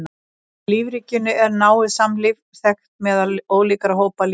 Í lífríkinu er náið samlífi þekkt meðal ólíkra hópa lífvera.